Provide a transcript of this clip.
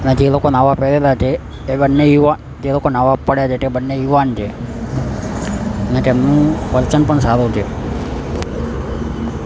આ જે લોકો નાવા પડેલા છે એ બન્ને યુવા જે લોકો નાવા પડ્યા છે તે બન્ને યુવાન છે અને તેમનું પણ સારો છે.